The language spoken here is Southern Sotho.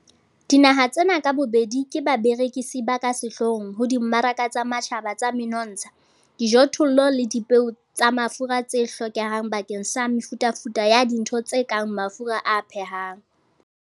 Dinaha tsena ka bobedi ke barekisi ba ka sehloohong ho dimmaraka tsa matjhaba tsa menontsha, dijothollo le dipeo tsa mafura tse hlokehang bakeng sa mefutafuta ya dintho tse kang mafura a phehang.